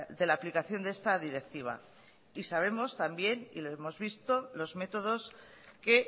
de la aplicación de esta directiva y sabemos también y lo hemos visto los métodos que